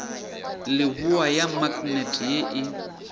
leboa ya maknete ye e